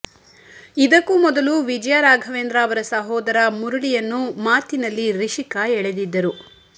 ಇದಕ್ಕೂ ಮೊದಲು ವಿಜಯ ರಾಘವೇಂದ್ರ ಅವರ ಸಹೋದರ ಮುರಳಿಯನ್ನು ಮಾತಿನಲ್ಲಿ ರಿಷಿಕಾ ಎಳೆದಿದ್ದರು